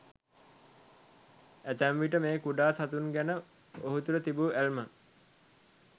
ඇතැම් විට මේ කුඩා සතුන් ගැන ඔහු තුළ තිබූ ඇල්ම